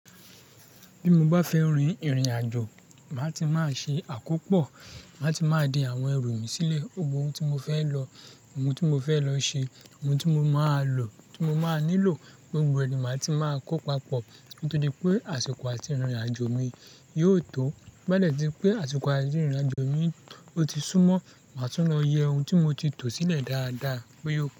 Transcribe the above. Bí mo bá fẹ́ rin ìrìn-àjò, màá ti máa ṣe àkópọ̀, màá ti máa de àwọn ẹrù mi sílẹ̀. Gbogbo ohun tí mo fẹ́ lọ, ohun tí mo fẹ́ lọ ṣe, ohun tí mo máa lò, tí mo máa nílò, gbogbo ẹni màá ti máa kó papọ̀. Nítorí pé àsìkò àti ìrìn-àjò mi yóò tó. Tin ba de tí ri pé àsìkò àti ìrìn-àjò mi ó ti súmọ́, màá tún lọ yẹ ohun tí mo ti tò sílẹ̀ dáadáa bo ya ò.